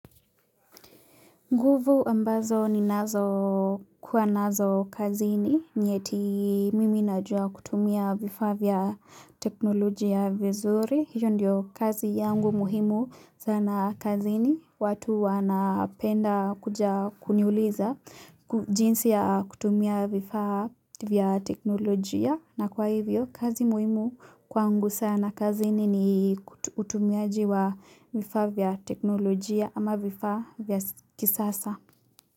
Nguvu ambazo ni nazo kuwa nazo kazini, nieti mimi najua kutumia vifavya teknolojia vizuri, hiyo ndio kazi yangu muhimu sana kazini, watu wanapenda kuja kuniuliza jinsi ya kutumia vifavya teknolojia. Na kwa hivyo, kazi muimu kwangu sana kazi nini utumiaji wa vifavya teknolojia ama vifavya vya kisasa.